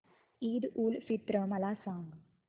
ईद उल फित्र मला सांग